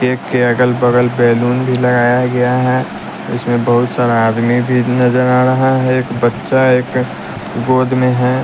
Cake के अगल बगल बैलून भी लगाया गया है इसमें बहुत सारा आदमी भी नजर आ रहा है एक बच्चा एक गोद में है।